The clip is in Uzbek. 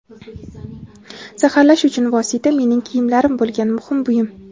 zaharlash uchun vosita mening kiyimlarim bo‘lgan – muhim buyum.